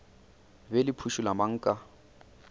be le phušula mang ka